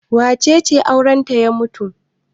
Wace ce aurenta ya mutu?